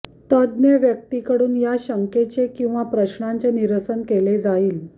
तज्ज्ञ व्यक्तीकडुन या शंकाचे किंवा प्रश्नांचे निरसन केले जाईल